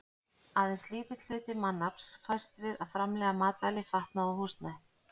Aðeins lítill hluti mannaflans fæst við að framleiða matvæli, fatnað og húsnæði.